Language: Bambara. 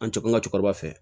An tɛ kuma an ka cɛkɔrɔba fɛ